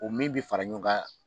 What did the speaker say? O min bɛ fara ɲɔgɔn kan